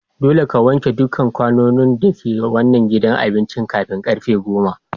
Dolle ka wanke dukan kwanun da ke wanan gidan abincin kafin karfen goma!